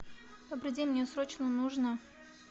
добрый день мне срочно нужно